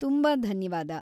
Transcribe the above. ತುಂಬಾ ಧನ್ಯವಾದ.